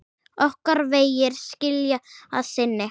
Okkar vegir skilja að sinni.